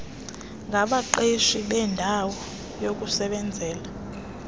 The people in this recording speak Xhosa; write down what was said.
ngabaqeqeshi beendawo yokusebenzela